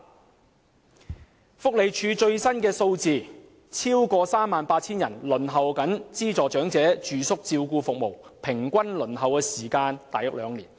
根據社會福利署的最新數字，有超過 38,000 人正在輪候資助長者住宿照顧服務，平均輪候時間約為兩年。